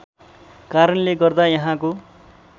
कारणले गर्दा यहाँको